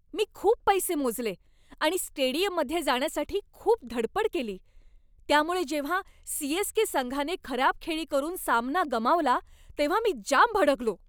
मी खूप पैसे मोजले आणि स्टेडियममध्ये जाण्यासाठी खूप धडपड केली, त्यामुळे जेव्हा सी.एस.के. संघाने खराब खेळी करून सामना गमावला तेव्हा मी जाम भडकलो.